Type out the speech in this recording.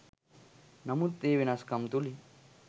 නමුත් ඒ වෙනස්කම් තුලින්